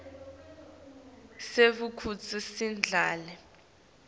sive kutsi sidlale